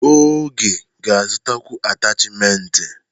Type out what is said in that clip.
Oge ga-azụtakwu atachimentị.